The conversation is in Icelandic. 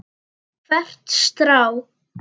Hvert strá.